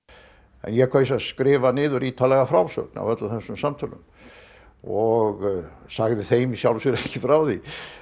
en ég kaus að skrifa niður ítarlega frásögn af öllum þessum samtölum og sagði þeim í sjálfu sér ekki frá því